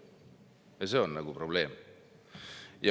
Ja see on probleem.